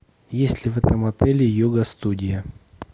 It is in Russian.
есть ли в этом отеле йога студия